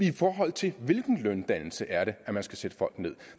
i forhold til hvilken løndannelse er det at man skal sætte folk ned